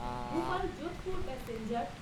Bhopal Jodhpur passenger